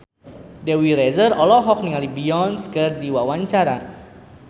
Dewi Rezer olohok ningali Beyonce keur diwawancara